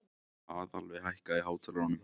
Aðalveig, hækkaðu í hátalaranum.